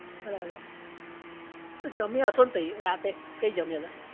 બરાબર, પછી જમ્યા હશો ને તઈ રાતે? કી જમ્યા તા?